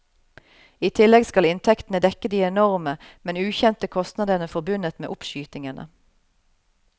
I tillegg skal inntektene dekke de enorme, men ukjente kostnadene forbundet med oppskytingene.